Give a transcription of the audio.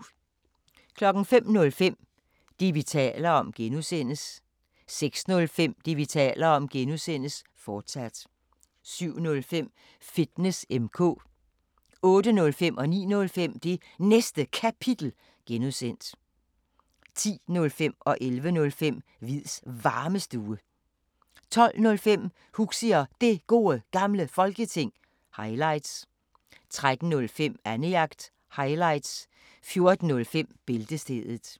05:05: Det, vi taler om (G) 06:05: Det, vi taler om (G), fortsat 07:05: Fitness M/K 08:05: Det Næste Kapitel (G) 09:05: Det Næste Kapitel (G) 10:05: Hviids Varmestue 11:05: Hviids Varmestue 12:05: Huxi og Det Gode Gamle Folketing – highlights 13:05: Annejagt – highlights 14:05: Bæltestedet